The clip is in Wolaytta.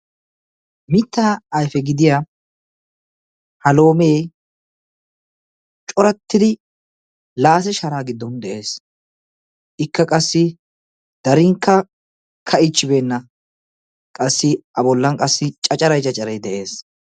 Mitta ayfe gidiya ha loome corattidi laase shara giddon de'ees. Ikka qassi darinkka kaa''ichchibeenna. Qassi A bollan qassi caccaray caccaray de'ees.